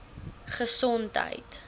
gesondheid